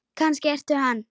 Kannski ertu hann?